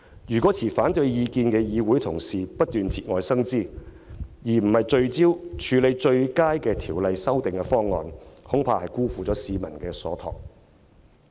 如果持反對意見的議會同事不斷節外生枝，而非聚焦討論最佳的修訂方案，恐怕便會辜負市民所託。